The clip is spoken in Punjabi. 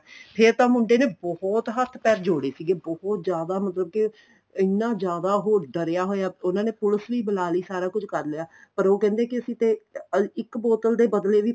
ਫ਼ੇਰ ਤਾਂ ਮੁੰਡੇ ਨੇ ਬਹੁਤ ਹੱਥ ਪੈਰ ਜੋੜੇ ਸੀਗੇ ਬਹੁਤ ਜਿਆਦਾ ਮਤਲਬ ਕੇ ਇੰਨਾ ਜਿਆਦਾ ਉਹ ਡਰਿਆ ਹੋਇਆ ਉਹਨਾ ਨੇ police ਵੀ ਬੁਲਾ ਲਈ ਸਾਰਾ ਕੁੱਛ ਕਰ ਲਿਆ ਪਰ ਕਹਿੰਦੇ ਅਸੀਂ ਤੇ ਇੱਕ ਬੋਤਲ ਦੇ ਬਦਲੇ ਵੀ